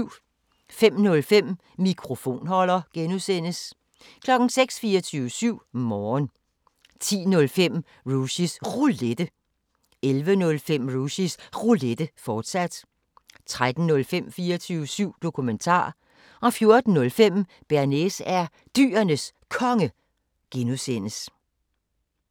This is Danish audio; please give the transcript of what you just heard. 05:05: Mikrofonholder (G) 06:00: 24syv Morgen 10:05: Rushys Roulette 11:05: Rushys Roulette, fortsat 13:05: 24syv Dokumentar 14:05: Bearnaise er Dyrenes Konge (G)